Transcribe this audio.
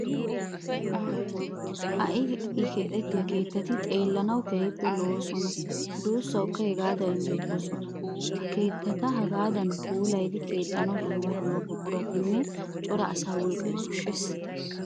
Ha"i ha"i keexettiya keettati xeellanawu keehipppe lo"oosonanne duussawukka hegaadan injjetoosona. Ha keettata hagaadan puulayidi keexxanawu dumma dumma buquratannen cora asaa wolqqaa koshshees.